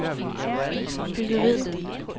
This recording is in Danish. byggeriet